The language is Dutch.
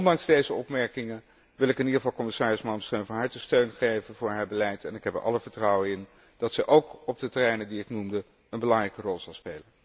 Ondanks deze opmerkingen wil ik in ieder geval commissaris Malmström van harte steun geven voor haar beleid en ik heb er alle vertrouwen in dat ze ook op de terreinen die ik noemde een belangrijke rol zal spelen.